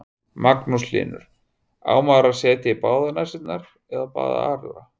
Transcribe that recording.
Magnús Hlynur: Á maður að setja í báðar nasirnar eða bara aðra?